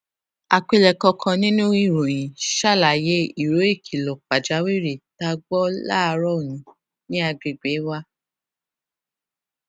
àpilèkọ kan nínú ìròyìn ṣàlàyé ìró ìkìlọ pàjáwìrì tá a gbó láàárò òní ní àgbègbè wa